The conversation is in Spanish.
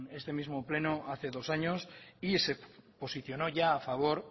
este mismo pleno hace dos años y se posicionó ya a favor